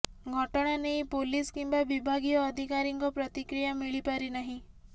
ଘଟଣା ନେଇ ପୋଲିସ୍ କିମ୍ବା ବିଭାଗୀୟ ଅଧିକାରୀଙ୍କ ପ୍ରତିକ୍ରିୟା ମିଳିପାରିନାହିଁ